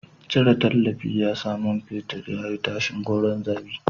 Cire tallafi shi ya sa man fetur ya yi tashin gordon zabi.